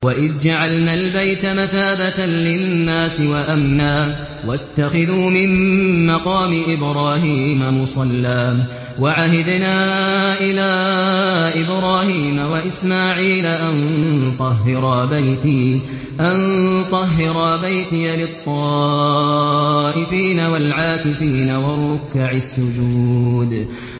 وَإِذْ جَعَلْنَا الْبَيْتَ مَثَابَةً لِّلنَّاسِ وَأَمْنًا وَاتَّخِذُوا مِن مَّقَامِ إِبْرَاهِيمَ مُصَلًّى ۖ وَعَهِدْنَا إِلَىٰ إِبْرَاهِيمَ وَإِسْمَاعِيلَ أَن طَهِّرَا بَيْتِيَ لِلطَّائِفِينَ وَالْعَاكِفِينَ وَالرُّكَّعِ السُّجُودِ